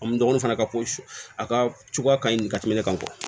An dɔgɔninw fana ka ko a ka cogoya ka ɲi ka tɛmɛ ne kan